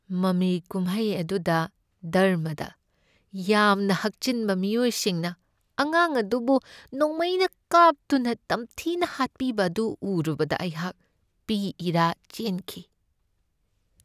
ꯃꯃꯤ ꯀꯨꯝꯍꯩ ꯑꯗꯨꯗ ꯙꯔꯃꯗ ꯌꯥꯝꯅ ꯍꯛꯆꯤꯟꯕ ꯃꯤꯑꯣꯏꯁꯤꯡꯅ ꯑꯉꯥꯡ ꯑꯗꯨꯕꯨ ꯅꯣꯡꯃꯩꯅ ꯀꯥꯞꯇꯨꯅ ꯇꯝꯊꯤꯅ ꯍꯥꯠꯄꯤꯕ ꯑꯗꯨ ꯎꯔꯨꯕꯗ ꯑꯩꯍꯥꯛ ꯄꯤ ꯏꯔꯥ ꯆꯦꯟꯈꯤ꯫